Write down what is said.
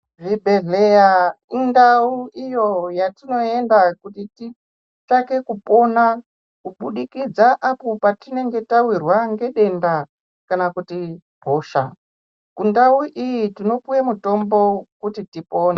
Zvibhedhleyaa indau iyo yatinoenda kuti titsvake kupona kubudikidza apo patinenge tawirwaa nedenda kana kuti hosha. Kundau iyi tinopuwe mutombo kuti tipone.